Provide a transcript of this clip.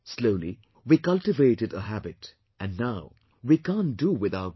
Slowly we cultivated a habit and now we can't do without those